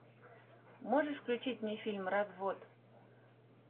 можешь включить мне фильм развод